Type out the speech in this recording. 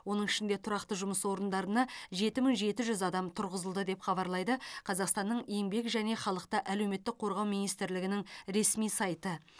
оның ішінде тұрақты жұмыс орындарына жеті мың жеті жүз адам тұрғызылды деп хабарлайды қазақстанның еңбек және халықты әлеуметтік қорғау министрлігінің ресми сайты